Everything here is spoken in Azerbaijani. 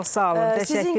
Çox sağ olun, təşəkkür edirəm.